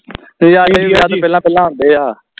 ਨਜਾਰੇ ਵਿਆਹ ਤੋਂ ਪਹਿਲਾ ਪਹਿਲਾ ਹੁੰਦੇ ਆ